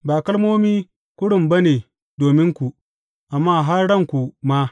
Ba kalmomi kurum ba ne dominku, amma har ranku ma.